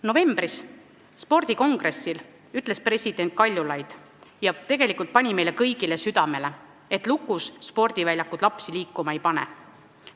Novembris toimunud spordikongressil ütles president Kaljulaid – tegelikult pani meile kõigile südamele –, et lukus spordiväljakud lapsi liikuma ei pane.